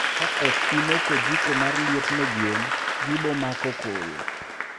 Ka ok imoko jiko mar liet ne gwen, gibomako koyo